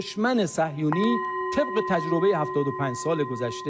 Düşməni səhyuni təcrübə 85-yə.